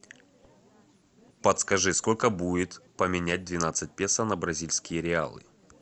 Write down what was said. подскажи сколько будет поменять двенадцать песо на бразильские реалы